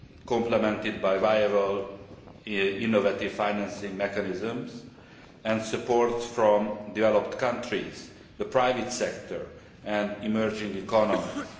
complemented by viable innovative financing mechanisms and support from developed countries, the private sector and emerging economies.